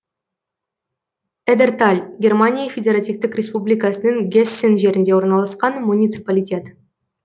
эдерталь германия федеративтік республикасының гессен жерінде орналасқан муниципалитет